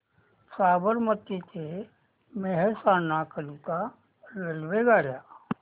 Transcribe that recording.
साबरमती ते मेहसाणा करीता रेल्वेगाड्या